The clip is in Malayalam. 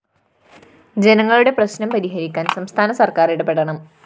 ജനങ്ങളുടെ പ്രശ്‌നം പരിഹരിക്കാന്‍ സംസ്ഥാന സര്‍ക്കാര്‍ ഇടപെടണം